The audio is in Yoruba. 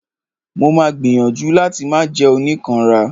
Mo ma gbìyànjú láti máà jẹ́ oníkanra.